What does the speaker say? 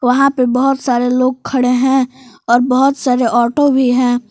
यहां पे बहुत सारे लोग खड़े हैं और बहुत सारे ऑटो भी हैं।